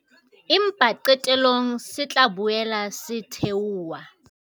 Empa qetellong se tla boela se theoha.